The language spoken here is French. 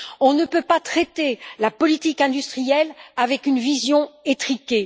On ne peut pas traiter la politique industrielle avec une vision étriquée.